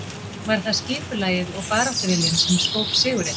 Var það skipulagið og baráttuviljinn sem skóp sigurinn?